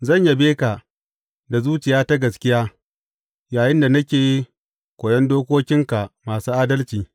Zan yabe ka da zuciya ta gaskiya yayinda nake koyon dokokinka masu adalci.